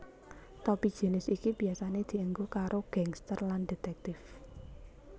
Topi jinis iki biasane dienggo karo gangsters lan detèktif